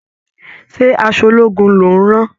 Ṣé aṣọ ológun ló ń rán?